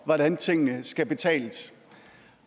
hvordan tingene skal betales